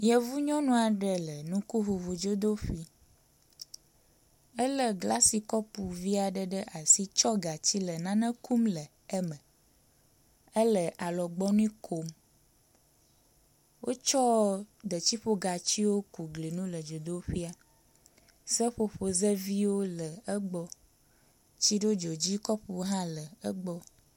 yevu nyɔnua ɖe le ŋukuʋuʋu dzodóƒi éle glasi kɔpuviaɖe ɖe asi tsɔ gatsi le nane kum le eme éle alɔgbɔnu kom wótsɔ detsiƒogatsiwo ku glinu le dzodoƒia seƒoƒozeviwo le egbɔ, tsiɖodzodzi kɔpu hã le egbɔ